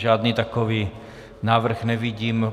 Žádný takový návrh nevidím.